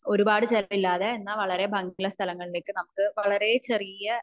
ഒരുപാട് ചിലവില്ലാതെ എന്ന നല്ല ബാക്കി ഉള്ള സ്ഥലങ്ങളിലേക്ക് നമുക്ക് വളരെ ചെറിയ